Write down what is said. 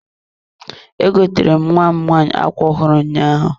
E gotere m nwam nwanyị ákwá ọhụrụ ụnyaahụ.